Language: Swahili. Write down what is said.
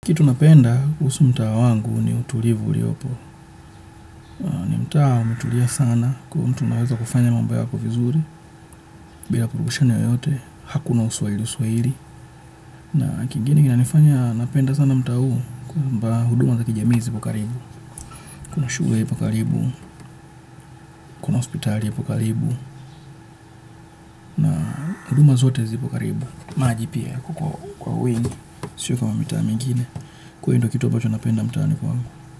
Kitu napenda kuhusu mtaa wangu ni utulivu uliopo. Ni mtaa umetulia sana kwa hiyo mtu unaweza kufanya mambo yako vizuri bila vurugushani yoyote, hakuna uswahili uswahili. Na kingine kinanifanya napenda sana mtaa huu kwamba huduma za kijamii zipo karibu. Kuna shule ipo karibu, kuna hospitali ipo karibu, huduma zote zipo karibu. Maji pia kuko kwa wingi, sio kama mitaa mingine. Kwa hiyo ndo kitu ambacho napenda mtaani kwangu.